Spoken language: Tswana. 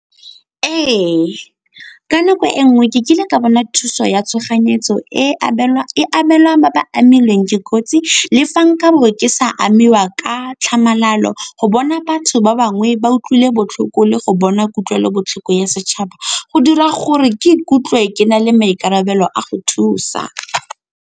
Ee, ka nako e nngwe ke kile ka bona thuso ya tshoganyetso e abelwa ba ba amilweng ke kotsi. Le fa nka bo ke sa amiwa ka tlhamalalo, go bona batho ba bangwe ba utlwile botlhoko le go bona kutlwelobotlhoko ya setšhaba go dira gore ke ikutlwe ke na le maikarabelo a go thusa.